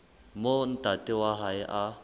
moo ntate wa hae a